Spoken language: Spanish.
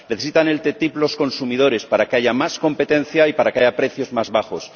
Necesitan la ATCI los consumidores, para que haya más competencia y para que haya precios más bajos.